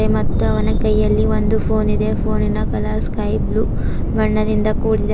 ಇಲ್ಲಿ ಮತ್ತು ಅವನ ಕೈಯಲ್ಲಿ ಒಂದು ಫೋನ್ ಇದೆ ಫೋನಿನ ಕಲರ್ ಸ್ಕೈ ಬ್ಲೂ ಬಣ್ಣದಿಂದ ಕೂಡಿದೆ.